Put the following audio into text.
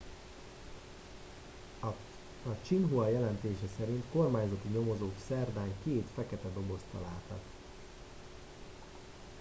a xinhua jelentése szerint kormányzati nyomozók szerdán két fekete dobozt találtak